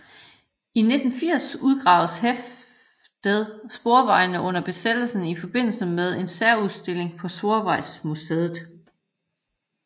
I 1980 udgaves hæftet Sporvejene under besættelsen i forbindelse med en særudstilling på Sporvejsmuseet